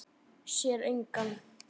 Sér engan.